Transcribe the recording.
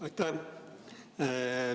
Aitäh!